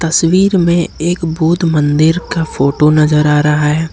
तस्वीर में एक बौद्ध मंदिर का फोटो नजर आ रहा है।